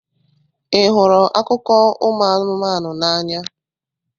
Ị hụrụ akụkọ ụmụ anụmanụ n'anya?